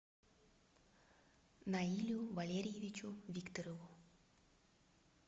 наилю валерьевичу викторову